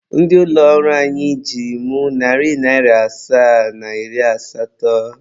Ndị ụlọ ọrụ anyị ji m narị asaa na iri asatọ.